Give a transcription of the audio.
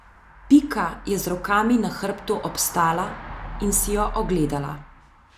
Pika je z rokami na hrbtu obstala in si jo ogledala.